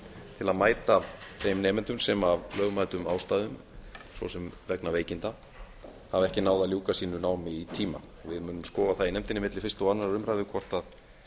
til að mæta þeim nemendum sem af lögmætum ástæðum svo sem vegna veikinda hafa ekki náð að ljúka sínu námi í tíma við munum skoða það í nefndinni milli fyrstu og annarrar umræðu hvort